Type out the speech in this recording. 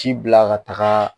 Ci bila ka taga